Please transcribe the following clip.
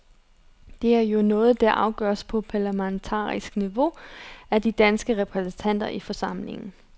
Det er jo noget, der afgøres på parlamentarikerniveau, af de danske repræsentanter i forsamlingen.